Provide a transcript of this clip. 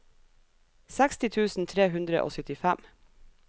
seksti tusen tre hundre og syttifem